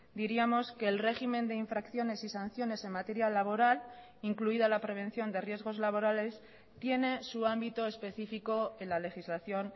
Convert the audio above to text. diríamos que el régimen de infracciones y sanciones en materia laboral incluida la prevención de riesgos laborales tiene su ámbito específico en la legislación